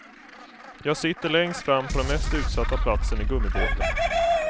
Jag sitter längst fram på den mest utsatta platsen i gummibåten.